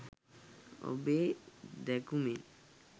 ඔබේ දැකුමෙන්